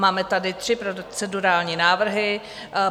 Máme tady tři procedurální návrhy.